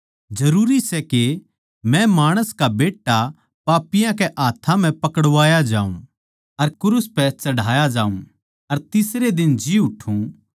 जरूरी सै कै मै माणस का बेट्टा पापियाँ कै हाथ्थां म्ह पकड़वाया जाऊँ अर क्रूस पै चढ़ाया जाऊँ अर तीसरे दिन जी उठ्ठु